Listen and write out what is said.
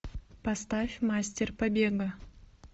поставь мастер побега